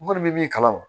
N kɔni bɛ min kalama